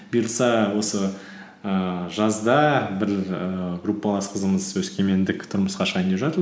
бұйырса осы ііі жазда бір ііі группалас қызымыз өскемендік тұрмысқа шығайын деп жатыр